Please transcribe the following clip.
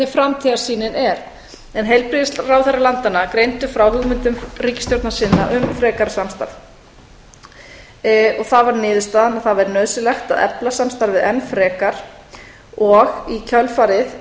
framtíðarsýnin er heilbrigðisráðherrar landanna greindu frá hugmyndum ríkisstjórna sinna um frekara samstarf og það varð niðurstaðan að það væri nauðsynlegt að efla samstarfið enn frekar og í kjölfarið